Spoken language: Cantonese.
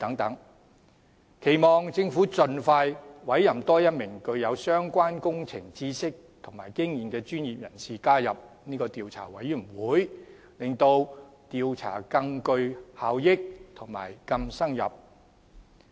我期望政府盡快委任多一名具有相關工程知識和經驗的專業人士加入調查委員會，從而使調查能更具效率及更深入。